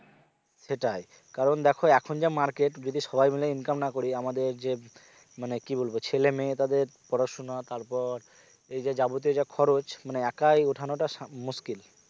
সেটাই কারণ দেখো এখন যা market যদি সবাই মিলে income না করি আমাদের যে মানে কি বলবো ছেলে মেয়ে তাদের পড়াশুনা তারপর এই যে যাবতীয় যা খরচ মানে একই ওঠানোটা সামলে মুশকিল